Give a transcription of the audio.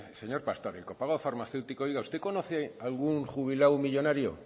señor pastor el copago farmacéutico oiga usted conoce algún jubilado millónario